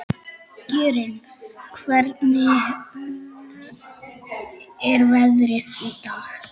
Jörgen, hvernig er veðrið í dag?